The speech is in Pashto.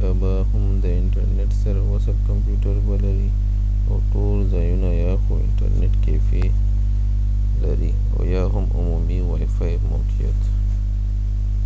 یا به هم د انټرنټ سره وصل کمپیو ټر به لري ،او ټول ځایونه یا خو انټرنټ کېفی لري او یا هم عمومی وای فای موقعیت